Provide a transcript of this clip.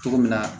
Cogo min na